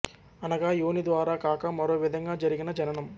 అనగా యోని ద్వారా కాక మరో విధంగా జరిగిన జననం